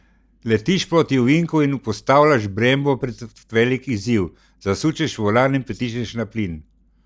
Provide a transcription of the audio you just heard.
Letiš proti ovinku in postavljaš Brembo pred velik izziv, zasučeš volan in pritisneš na plin.